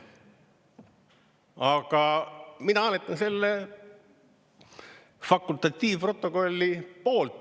Aga mina hääletan selle fakultatiivprotokolli poolt.